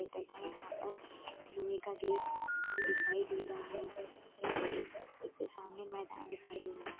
इतना यहाँ पर लोहे का गेट भी दिखाई दे रहा है उसके सामने मैदान दिखाई दे रहा है।